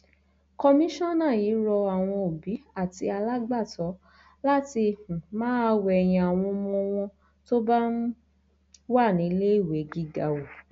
kọmíṣánná yìí rọ àwọn òbí àti alágbàtọ láti um máa wẹyìn àwọn ọmọ wọn tó bá um wà níléèwé gíga wò